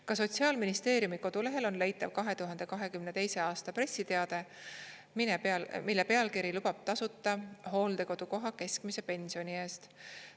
Ka Sotsiaalministeeriumi kodulehel on leitav 2022. a pressiteade, mille pealkiri lubab tasuta hooldekodukoha keskmise pensioni eest.